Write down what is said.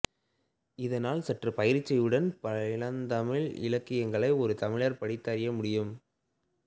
இதனால் சற்று பயிற்சியுடன் பழந்தமிழ் இலக்கியங்களை ஒரு தமிழர் படித்து அறிய முடியும்